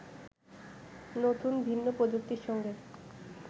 নতুন ভিন্ন প্রযুক্তির সঙ্গে